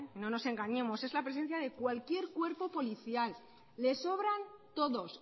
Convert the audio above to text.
no nos engañemos es la presencia de cualquier cuerpo policial les sobran todos